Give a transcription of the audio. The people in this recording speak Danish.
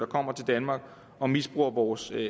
kommer til danmark og misbruger vores